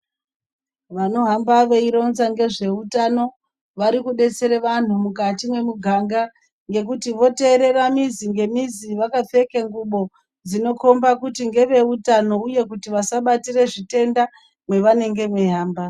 Vanohamba veironza ngezveutano varikudetsere vanhu mukati mwemuganda ngekuti voteerera mizi ngemizi vakapfeka ngubo dzinokhomba kuti ngeveutano uye kuti vasabatire zvitenda mavanenge veihamba.